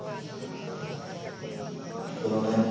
ਫਿਰ ਉਹਨੇ,